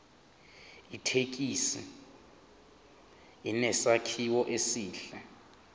ithekisi inesakhiwo esihle